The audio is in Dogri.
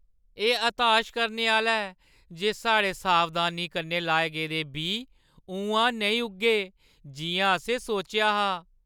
एह् हताश करने आह्‌ला ऐ जे साढ़े सावधानी कन्नै लाए गेदे बीऽ उʼआं नेईं उग्गे जिʼयां असें सोचेआ हा ।